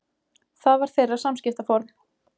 Það var þeirra samskiptaform.